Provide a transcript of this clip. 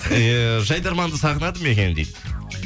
иә жайдарманды сағынады ма екен дейді